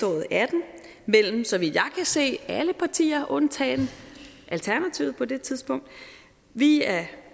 og atten mellem så vidt jeg kan se alle partier undtagen alternativet på det tidspunkt vi er